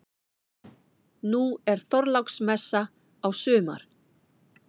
Nú er Þorláksmessa á sumar.